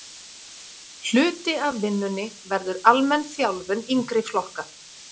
Hluti af vinnunni verður almenn þjálfun yngri flokka.